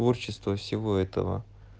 творчество всего этого